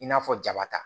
I n'a fɔ jaba ta